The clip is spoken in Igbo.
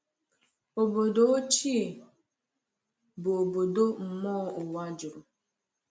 Obodo ochie bụ obodo mmụọ ụwa juru.